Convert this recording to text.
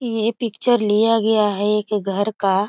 ये पिक्चर लिया गया है एक घर का।